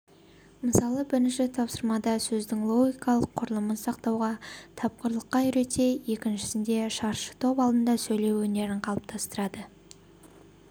мысалы бірінші тапсырмада сөздің логикалық құрылымын сақтауға тапқырлыққа үйретсе екіншісінде шаршытоп алдында сөйлеу өнерін қалыптастырады